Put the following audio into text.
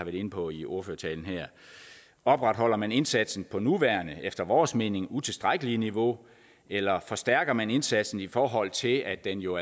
inde på i ordførertalen her opretholder man indsatsen på det nuværende og efter vores mening utilstrækkelige niveau eller forstærker man indsatsen i forhold til at den jo